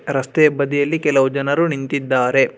ರಸ್ತೆ ಬದಿಯಲ್ಲಿ ಕೆಲವು ಜನರು ನಿಂತಿದ್ದಾರೆ.